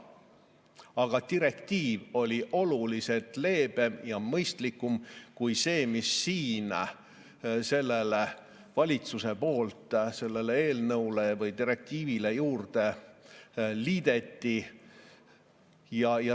Aga direktiiv oli oluliselt leebem ja mõistlikum kui see, mis valitsus siin sellele eelnõule või direktiivile juurde liitis.